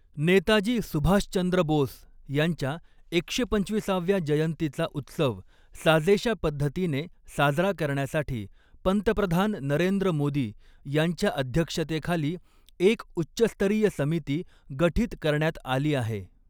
नेताजी सुभाषचंद्र बोस यांच्या एकशे पंचविसाव्या जयंतीचा उत्सव साजेशा पद्धतीने साजरा करण्यासाठी पंतप्रधान नरेंद्र मोदी यांच्या अध्यक्षतेखाली एक उच्चस्तरीय समिती गठीत करण्यात आली आहे.